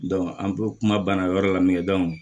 an p ma banna o yɔrɔ la min kɛ